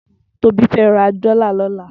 Tobi fè rà dòlá lòlá